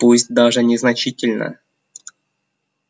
пусть даже незначительно